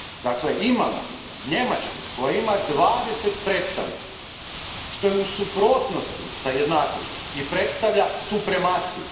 Dakle, imamo Njemačku koja ima dvadeset predstavnika, što je u suprotnosti s jednakošću i predstavlja supremaciju.